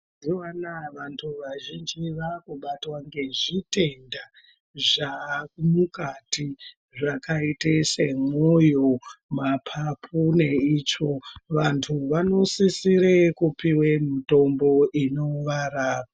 Mazuva anaya vantu vazhinji vaakubatwa ngezvitenda zvaamukati zvakaite semwoyo, mapapu neitsvo. Vantu vanosisire kupiwe mitombo inovarapa.